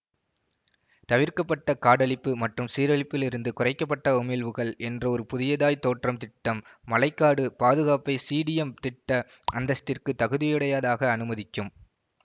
தவிர்க்கப்பட்ட காடழிப்பு மற்றும் சீரழிப்பிலிருந்து குறைக்க பட்ட உமிழ்வுகள் என்ற ஒரு புதியதாய் தோன்றும் திட்டம் மழை காடு பாதுகாப்பை சிடீஎம் திட்ட அந்தஸ்திற்குத் தகுதியுடையதாக அனுமதிக்கும்